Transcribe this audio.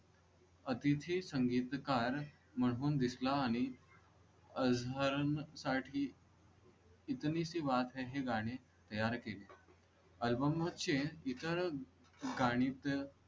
अतिथी संगीतकार म्हणून दिसला आणि साठी इतनी सी बात है हे गाणे तयार केले. Album चे इतर गाणी चं.